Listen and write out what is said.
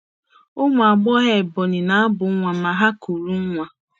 Ụmụ agbọghọ Ebonyi na-abụ nwa ma ha kuru nwa.